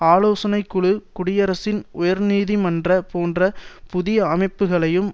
ஆலோசனை குழு குடியரசின் உயர்நீதி மன்றம் போன்ற புதிய அமைப்புக்களையும்